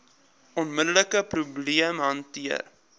onmiddelike probleem hanteer